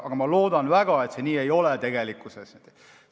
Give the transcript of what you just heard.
Aga ma loodan väga, et see tegelikkuses nii ei ole.